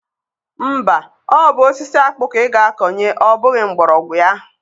Mba, ọ bụ osisi akpụ ka ị ga-akọnye ọ bụghị mgbọrọgwụ ya.